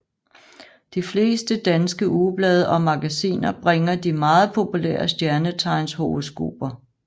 De fleste danske ugeblade og magasiner bringer de meget populære stjernetegnshoroskoper